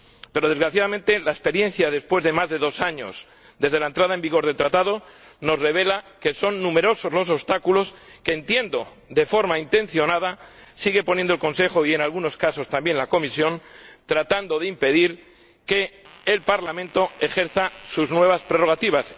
Pero, desgraciadamente, la experiencia después de más de dos años desde la entrada en vigor del Tratado nos revela que son numerosos los obstáculos que —entiendo— de forma intencionada siguen poniendo el Consejo y, en algunos casos, también la Comisión, tratando de impedir que el Parlamento ejerza sus nuevas prerrogativas.